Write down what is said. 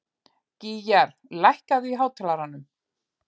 Gýgjar, lækkaðu í hátalaranum.